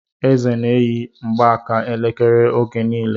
Eze n'eyi mgbaaka elekere oge niile